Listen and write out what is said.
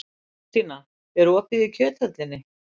Þórstína, er opið í Kjöthöllinni?